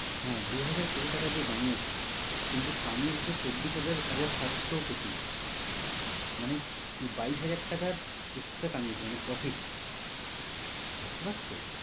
হ্যাঁ দুহাজার কোটি টাকা দিয়ে বানিয়েছে কিন্তু কামিয়েছে চব্বিশ হাজার সাতশ কোটি। মানে বাইশ হাজার টাকার extra কামিয়েছে মানে profit ভাবতে পারছ?